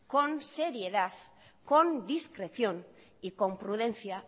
con seriedad con discreción y con prudencia